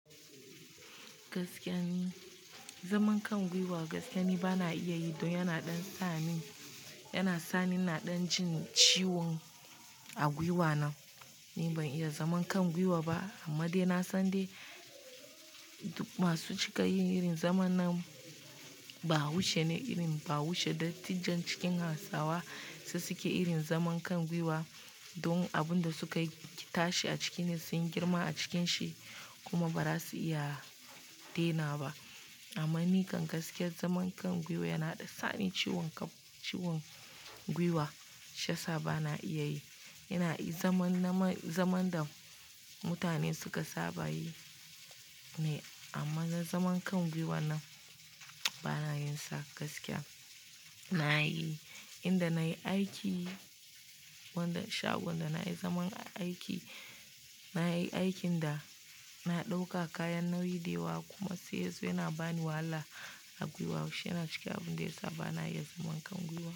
Gaskiya ne, zaman kan gwiwa gaskiya ni bana iya yi don yana ɗan sa ni, yana sa ni ina ɗan jin ciwon a gwiwa na. Ni ban iya zaman kan gwiwa ba amma dai na san dai masu cika yin irin zaman na bahaushe ne, irin bahaushe dattijan cikin Hausawa su suke irin zaman kan gwiwa. Don abin da suka tashi a ciki ne sun girma a cikin shi kuma bara su iya dena ba. Amman ni kam gaskiya zaman kan gwiwa yana ɗan sa ni ciwon kaf, ciwon gwiwa. Shi yasa bana iya yi. Ina yi zaman naman, zaman da mutane suka saba yi ne amma na zaman kan gwiwa na bana yinsa gaskiya. Na yi, inda na yi aiki, wanda shagon da na yi zaman aiki, na yi aikin da na ɗauka kayan nauyi dewa kuma sai yanzu yana bani wahala a gwiwa. Shi yana cikin abun da yasa bana iya zaman kan gwiwa.